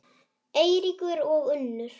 Eiríkur og Unnur.